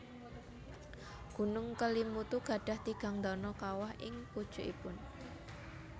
Gunung Kelimutu gadhah tigang dano kawah ing pucukipun